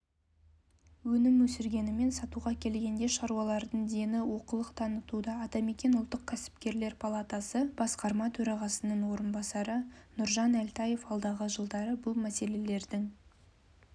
өнім өсіргенімен сатуға келгенде шаруалардың дені олқылық танытуда атамекен ұлттық кәсіпкерлер палатасы басқарма төрағасының орынбасары нұржан әлтаев алдағы жылдары бұл мәселелердің